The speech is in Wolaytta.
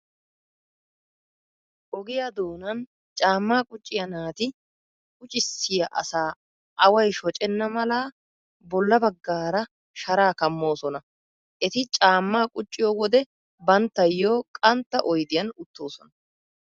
Ogiyaa doonan caammaa qucciyaa naati quccissiyaa asaa away shocenna mala bolla baggaara sharaa kammoosona. Eti caammaa qucciyo wode banttayyo qantta oydiyan uttoosona.